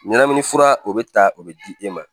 Ɲɛnamini fura o be ta o be di e ma